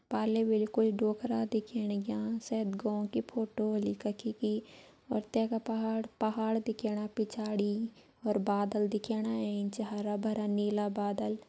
पाले बिल्कुल डोकरा दिखेण लग्यां शायद गों की फोटो होली कखि की और तैका पहाड़ पहाड़ दिखेणा पिछाड़ी और बादल दिखेण एंच हरा भरा नीला बादल।